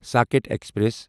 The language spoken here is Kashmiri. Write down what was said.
ساکٕٹھ ایکسپریس